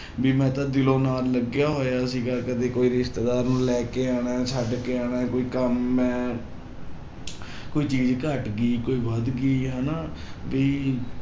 ਵੀ ਮੈਂ ਤਾਂ ਦਿਲੋਂ ਨਾਲ ਲੱਗਿਆ ਹੋਇਆ ਸੀਗਾ ਕਦੇ ਕੋਈ ਰਿਸ਼ਤੇਦਾਰ ਨੂੰ ਲੈ ਕੇ ਆਉਣਾ ਹੈ, ਛੱਡ ਕੇ ਆਉਣਾ ਹੈ ਕੋਈ ਕੰਮ ਮੈਂ ਕੋਈ ਚੀਜ਼ ਘੱਟ ਗਈ ਕੋਈ ਵੱਧ ਗਈ ਹਨਾ ਵੀ